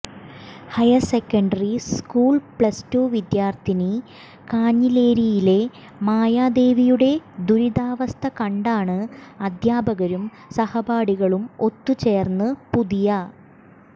higher secondary school plus two വിദ്യാർഥിനി കാഞ്ഞിലേരിയിലെ മായാദേവിയുടെ ദുരിതാവസ്ഥ കണ്ടാണ് അധ്യാപകരും സഹപാഠികളും ഒത്തുചേർന്ന് പുതിയ